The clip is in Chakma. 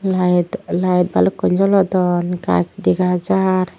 light light balukkun jolodon gaaj dega jaar.